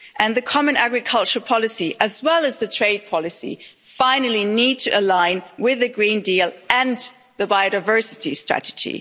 The common agricultural policy, as well as the trade policy, finally need to align with the Green Deal and the biodiversity strategy.